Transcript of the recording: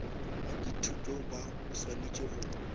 ba dithuto ba swanetše go